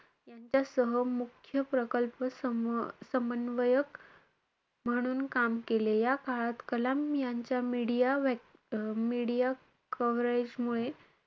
यांच्यासह मुख्य प्रकल्प सम~ समन्वयक म्हणून काम केले. या काळात कलाम यांच्या media media coverage मुळे,